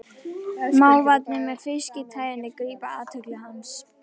Mávarnir með fiski-tægjuna grípa athygli hans.